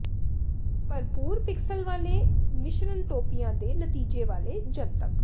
ਭਰਪੂਰ ਪਿਕਸਲ ਵਾਲੇ ਮਿਸ਼ਰਰ ਟੋਪੀਆਂ ਦੇ ਨਤੀਜੇ ਵਾਲੇ ਜਨਤਕ